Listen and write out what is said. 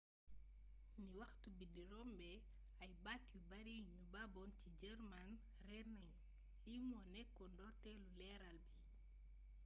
ni waxtu bi di rombé ay baat yu bari yu nu baboon ci german réér nagnu lii mo nékkoon ndortélu leeral bi